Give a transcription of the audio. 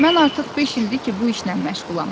Mən artıq beş ildir ki, bu işlə məşğulam.